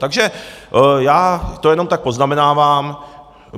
Takže to já jenom tak poznamenávám.